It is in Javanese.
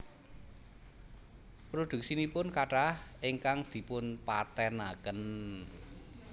Prodhuksinipun kathah ingkang dipun patèn aken